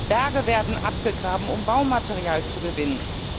Ganze Berge werden abgegraben, um Baumaterial zu gewinnen.